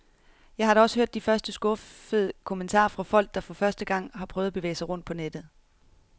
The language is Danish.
Jeg har da også hørt de første skuffede kommentarer fra folk, der for første gang har prøvet at bevæge sig rundt på nettet.